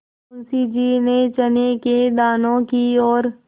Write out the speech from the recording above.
मुंशी जी ने चने के दानों की ओर